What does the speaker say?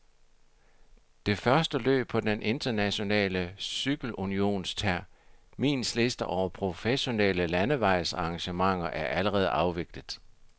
De første løb på den internationale cykelunions terminsliste over professionelle landevejsarrangementer er allerede afviklet.